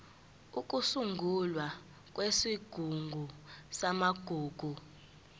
ukusungulwa kwesigungu samagugu